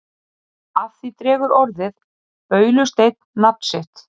af því dregur orðið baulusteinn nafn sitt